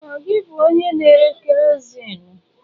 Ọ gị bụ onye na-ere kerọsinụ?